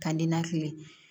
Ka ninakili